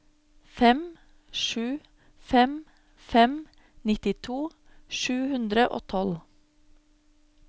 fem sju fem fem nittito sju hundre og tolv